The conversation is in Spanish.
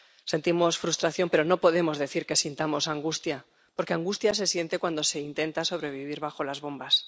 Sentimos frustración, pero no podemos decir que sintamos angustia, porque angustia se siente cuando se intenta sobrevivir bajo las bombas.